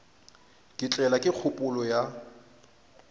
ka tlelwa ke kgopolo ya